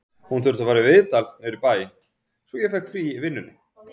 Hún þurfti að fara í viðtal niður í bæ, svo ég fékk frí í vinnunni